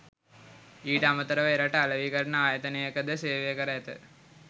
ඊට අමතරව එරට අලෙවිකරණ ආයතනයක ද සේවය කර ඇත